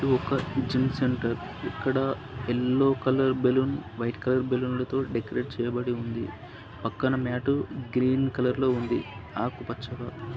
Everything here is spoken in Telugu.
ఇది ఒక జిమ్ సెంటర్ ఇక్కడ yellow colour balloon white colour బెలూన్లు తో డెకరేట్ చేయబడి ఉంది. పక్కన మ్యాటు గ్రీన్ కలర్ లో ఉంది ఆకూ పచ్చగా.